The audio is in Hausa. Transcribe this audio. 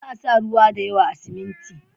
Ba a sa ruwa da yawa a siminti.